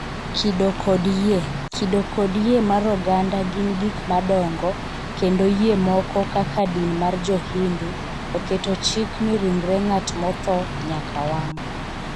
kido kod yie: kido kod yie mar oganda gin gik madongo kendo yie moko kaka din mar Jo-Hindu oketo chik ni ringre ng’at motho nyaka wang'